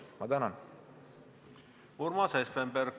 Urmas Espenberg, palun!